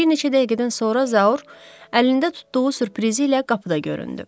Bir neçə dəqiqədən sonra Zaur əlində tutduğu sürprizi ilə qapıda göründü.